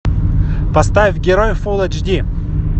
поставь герой фулл эйч ди